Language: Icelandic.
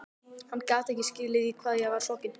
Hann gat ekki skilið í hvað ég var sokkin.